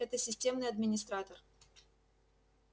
это системный администратор